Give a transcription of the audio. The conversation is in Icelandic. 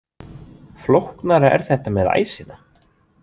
Flóknara er þetta með æsina.